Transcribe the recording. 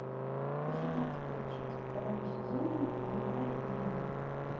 восемнадцатая часть второго сезона убивая еву